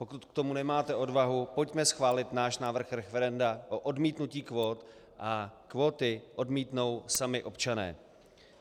Pokud k tomu nemáte odvahu, pojďme schválit náš návrh referenda o odmítnutí kvót a kvóty odmítnou sami občané.